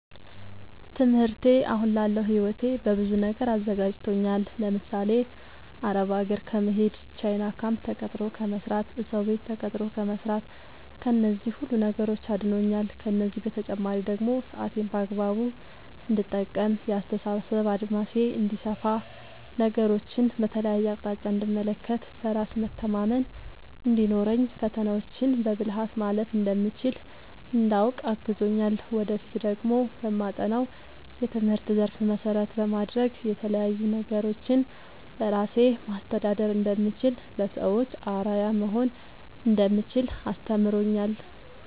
ትምህርቴ አሁን ላለው ህይወቴ በብዙ ነገር አዘጋጅቶኛል። ለምሳሌ፦ አረብ ሀገር ከመሄድ፣ ቻይና ካምፕ ተቀጥሮ ከመስራት፣ እሰው ቤት ተቀጥሮ ከመስራት ከነዚህ ሁሉ ነገሮች አድኖኛል። ከእነዚህ በተጨማሪ ደግሞ ሰአቴን በአግባቡ እንድጠቀም፣ የአስተሳሰብ አድማሴ እንዲሰፋ፣ ነገሮችን በተለያየ አቅጣጫ እንድመለከት፣ በራስ መተማመን እንዲኖረኝ፣ ፈተናዎችን በብልሀት ማለፍ እንደምችል እንዳውቅ አግዞኛል። ወደፊት ደግሞ በማጠናው የትምህርት ዘርፍ መሰረት በማድረግ የተለያዪ ነገሮችን በራሴ ማስተዳደር እንደምችል፣ ለሰዎች አርአያ መሆን እንደምችል አስተምሮኛል።